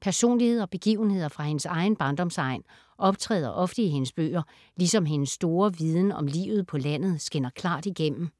Personligheder og begivenheder fra hendes egen barndomsegn optræder ofte i hendes bøger, ligesom hendes store viden om livet på landet skinner klart igennem.